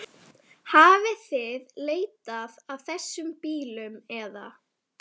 Hafið þið leitað að þessum bílum eða?